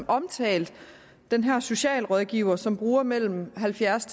omtalt den her socialrådgiver som bruger mellem halvfjerds